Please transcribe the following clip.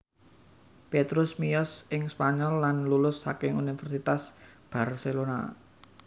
Petrus miyos ing Spanyol lan lulus saking Universitas Barcelona